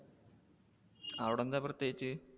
അവിടെ എന്താ പ്രത്യേകിച്ച്?